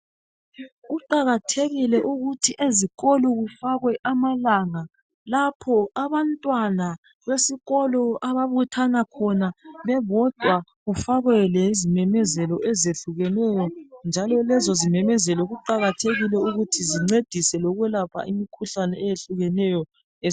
Kuqakathekile ukuthi ezikolo kufakwe amalanga lapho abantwana besikolo ababuthana khona bebodwa kufakwe lezimemezelo ezehlukeneyo, njalo lezo zimemezelo kuqakathekile ukuthi zincedise lokwelapha imikhuhlane eyehlukeneyo